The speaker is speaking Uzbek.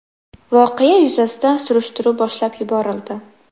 Voqea yuzasidan surishtiruv boshlab yuborildi.